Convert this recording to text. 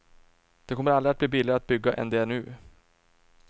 Det kommer aldrig att bli billigare att bygga än det är nu.